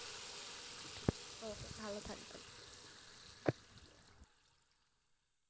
okay ভালো থাকবেন,